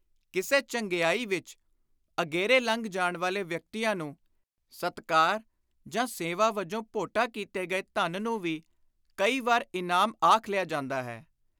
ਕਿਸੇ ਚੰਗਿਆਈ ਵਿਚ ਅਗੇਰੇ ਲੰਘ ਜਾਣ ਵਾਲੇ ਵਿਅਕਤੀਆਂ ਨੂੰ, ਸਤਿਕਾਰ ਜਾਂ ਸੇਵਾ ਵਜੋਂ ਭੋਟਾ ਕੀਤੇ ਗਏ ਧਨ ਨੂੰ ਵੀ ਕਈ ਵੇਰ ਇਨਾਮ ਆਖ ਲਿਆ ਜਾਂਦਾ ਹੈ।